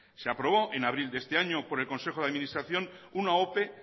se aprobó en abril de este año por el consejo de administración una ope